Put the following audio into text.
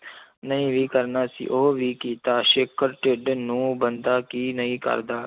ਨਹੀਂ ਵੀ ਕਰਨਾ ਸੀ ਉਹ ਵੀ ਕੀਤਾ ਢਿੱਡ ਨੂੰ ਬੰਦਾ ਕੀ ਨਹੀਂ ਕਰਦਾ।